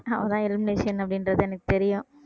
அவதான் elimination அப்படின்றது எனக்கு தெரியும்